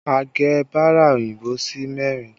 A gé bara òyìnbó sí mẹ́rin